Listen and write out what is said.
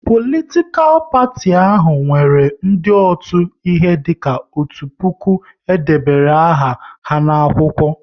Politikal parti ahụ nwere ndị otu, ihe dika otu puku e debere aha ha n'akwụkwọ